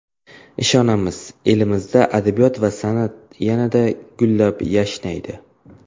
Ishonamiz, elimizda adabiyot va san’at yanada gullab-yashnaydi.